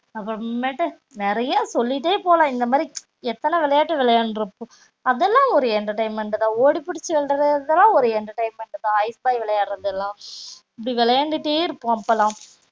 அப்பறமேட்டு நெறைய சொல்லிட்டே போலாம் இந்த மாரி எத்தன விளையாட்டு விளையான்றுப்போம் அதுலான் ஒரு entertainment தான் ஓடி புடிச்சி விளையாடுரதுலான் ஒரு entertainment தான் ஐஸ் பாய் விளையாடுரதுலான் இப்படி விளையான்டுட்டே இருப்போம் அப்போலாம்